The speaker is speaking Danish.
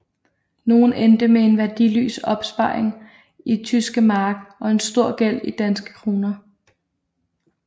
Nogle endte med en værdiløs opsparing i tyske mark og en stor gæld i danske kroner